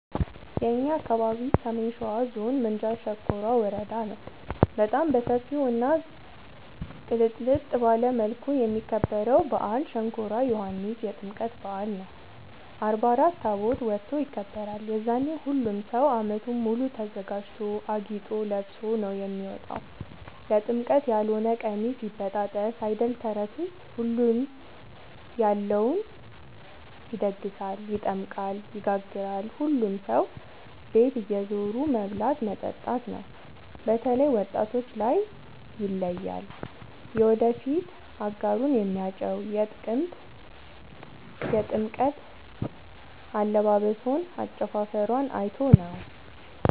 የእኛ አካባቢ ሰሜን ሸዋ ዞን ምንጃር ሸንኮራ ወረዳ ነው። በጣም በሰፊው እና ቅልጥልጥ ባለ መልኩ የሚከበረው በአል ሸንኮራ ዮኋንስ የጥምቀት በአል ነው። አርባ አራት ታቦት ወጥቶ ይከብራል። የዛኔ ሁሉም ሰው አመቱን ሙሉ ተዘጋጅቶ አጊጦ ለብሶ ነው የሚወጣው ለጥምቀት ያሎነ ቀሚስ ይበጣጠስ አይደል ተረቱስ ሁሉም ያለውን ይደግሳል። ይጠምቃል ይጋግራል ሁሉም ሰው ቤት እየዞሩ መብላት መጠጣት ነው። በተላይ ወጣቶች ላይ ይለያል። የወደፊት አጋሩን የሚያጨው የጥምቀት አለባበሶን አጨፉፈሯን አይቶ ነው።